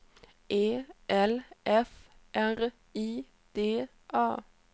E L F R I D A